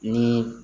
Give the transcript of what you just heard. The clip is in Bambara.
Ni